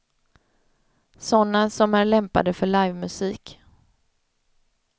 Såna som är lämpade för livemusik.